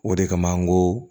O de kama n ko